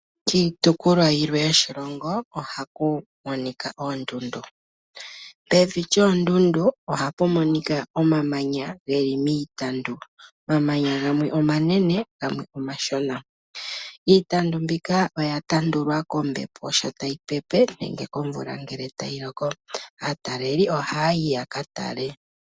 Kiitukulwa yilwe yo shilongo ohaku monika oondundu. Pevi lyoondundu ohapu monika omamanya geli miitandu, omamanya gamwe omanene gamwe omashona. Iitandu mbika oya tandulwa kombepo sho tayi pepe nenge komvula ngele tayi loko. Aataleli oha yayi ya ka tale.